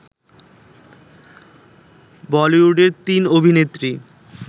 বলিউডের তিন অভিনেত্রী